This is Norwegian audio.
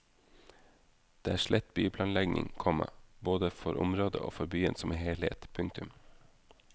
Det er slett byplanlegging, komma både for området og for byen som helhet. punktum